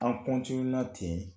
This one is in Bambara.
An ten